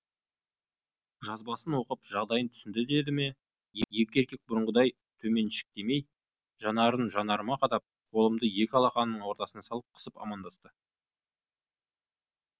жазбасын оқып жағдайын түсінді деді ме еркек бұрынғыдай төменшіктемей жанарын жанарыма қадап қолымды екі алақанының ортасына салып қысып амандасты